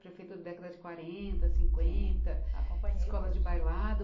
Prefeitura da década de quarenta, cinquenta, escolas de bailado.